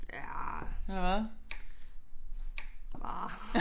Ja ah nej